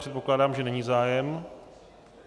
Předpokládám, že není zájem.